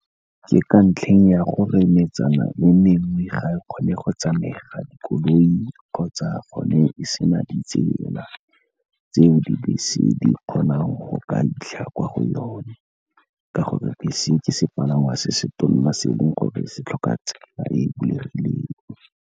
Ke ka ntlheng ya gore metsana le mengwe ga e kgone go tsamega dikoloi, kgotsa gone e sena ditsela tseo dibese di kgonang go ka fitlha kwa go yone, ka gore bese ke sepalangwa se se tona, se eleng gore se tlhoka tsela e e bulegileng.